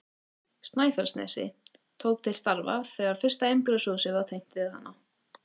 Snæfellsnesi, tók til starfa þegar fyrsta einbýlishúsið var tengt við hana.